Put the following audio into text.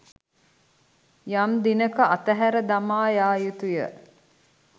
යම් දිනක අතහැර දමා යා යුතුය.